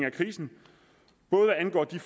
af krisen både hvad angår de